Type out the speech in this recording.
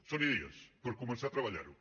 són idees per començar a treballar ho